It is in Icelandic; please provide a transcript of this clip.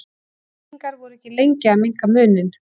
Víkingar voru ekki lengi að minnka muninn.